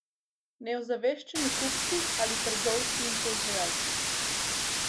Neozaveščeni kupci ali trgovci in proizvajalci?